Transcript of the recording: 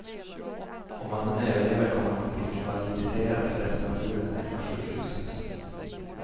Om mannen överlever kommer han att bli invalidiserad för resten av livet, meddelar sjukhuset.